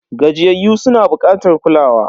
Gajiyayyu suna bukatar kulawa.